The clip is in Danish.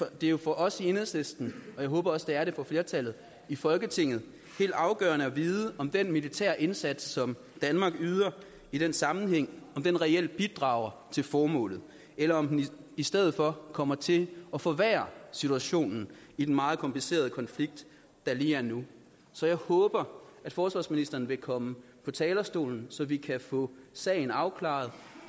det er jo for os i enhedslisten og jeg håber også det er det for flertallet i folketinget helt afgørende at vide om den militære indsats som danmark yder i den sammenhæng reelt bidrager til formålet eller om den i stedet for kommer til at forværre situationen i den meget komplicerede konflikt der er lige nu så jeg håber at forsvarsministeren vil komme på talerstolen så vi kan få sagen afklaret